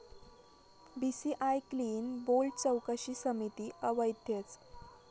BCCI 'clean bold' चौकशी समिती अवैधच!